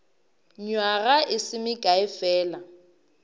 nywaga e se mekae fela